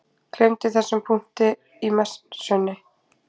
Gleymdi þessum punkti í Messunni.